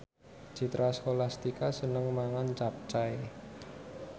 Citra Scholastika seneng mangan capcay